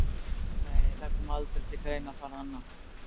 Nei, það kom aldrei til greina að fara annað.